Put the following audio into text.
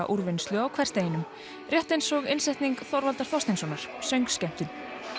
úrvinnslu á hversdeginum rétt eins og innsetning Þorvaldar Þorsteinssonar söngskemmtun